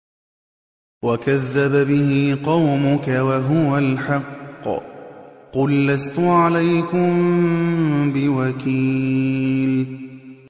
وَكَذَّبَ بِهِ قَوْمُكَ وَهُوَ الْحَقُّ ۚ قُل لَّسْتُ عَلَيْكُم بِوَكِيلٍ